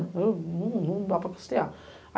Não, não, não dava para custear.